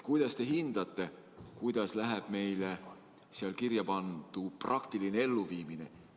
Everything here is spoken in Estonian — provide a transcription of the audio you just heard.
Kuidas teie hinnangul läheb meil seal kirja pandu praktiline elluviimine?